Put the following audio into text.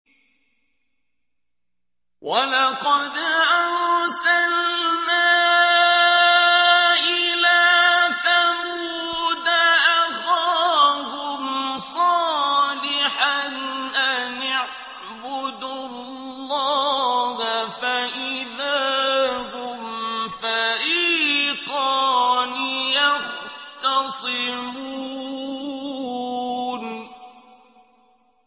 وَلَقَدْ أَرْسَلْنَا إِلَىٰ ثَمُودَ أَخَاهُمْ صَالِحًا أَنِ اعْبُدُوا اللَّهَ فَإِذَا هُمْ فَرِيقَانِ يَخْتَصِمُونَ